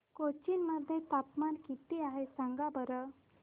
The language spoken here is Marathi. कोचीन मध्ये तापमान किती आहे सांगा बरं